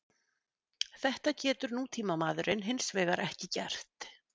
Þetta getur nútímamaðurinn hins vegar ekki gert.